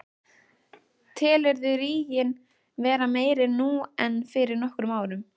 Telurðu ríginn vera meiri nú en fyrir nokkrum árum?